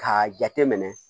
K'a jate minɛ